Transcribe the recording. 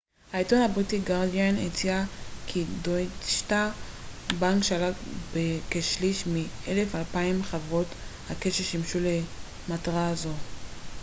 העיתון הבריטי הגרדיאן הציע כי דויטשה בנק שלט בכשליש מ־1200 חברות הקש ששימשו למטרה זו